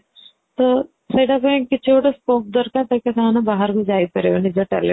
ତ ସେଇଟା ପାଇଁ କିଛି ଗୋଟେ scope ଦରକାର ଯୋଉଟା ପାଇଁ କି ସେମାନେ ବାହାରକୁ ଯାଇପାରିବେ ନିଜ